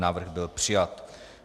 Návrh byl přijat.